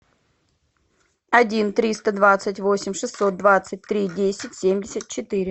один триста двадцать восемь шестьсот двадцать три десять семьдесят четыре